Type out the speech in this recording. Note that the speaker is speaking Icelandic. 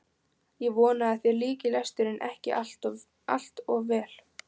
Ég vona að þér líki lesturinn ekki allt of vel.